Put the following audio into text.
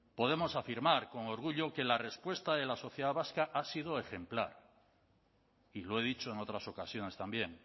podemos afirmar con orgullo que la respuesta de la sociedad vasca ha sido ejemplar y lo he dicho en otras ocasiones también